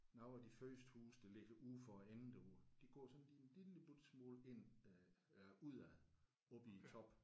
Nogle af de første huse der ligger ude for enden derude de går sådan lige en lille bitte smule ind øh udad oppe i toppen